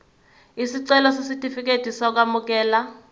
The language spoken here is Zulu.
isicelo sesitifikedi sokwamukeleka